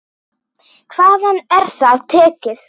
Hvaðan er það tekið?